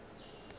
e be e ka ba